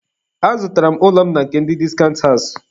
Azụtara m ụlọ m na nke ndị discount house.